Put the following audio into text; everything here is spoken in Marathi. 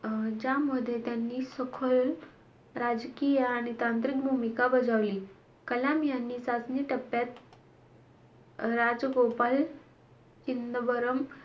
अं ज्यामध्ये त्यांनी सखोल राजकीय आणि तांत्रिक भूमिका बजावली. कलाम यांनी चाचणी टप्प्यात राजगोपाल चिदंबरम,